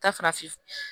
Taa farafin